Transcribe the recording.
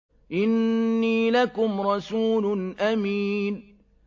إِنِّي لَكُمْ رَسُولٌ أَمِينٌ